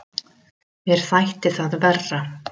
Mér þætti það verra!